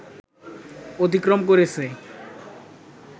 অতিক্রম করেছে